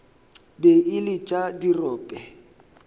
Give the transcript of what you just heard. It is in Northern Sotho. be e le tša dirope